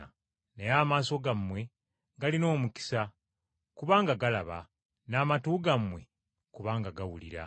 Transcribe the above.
Naye amaaso gammwe galina omukisa, kubanga galaba, n’amatu gammwe kubanga gawulira.